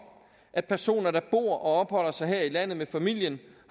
at personer der bor og opholder sig her i landet med familien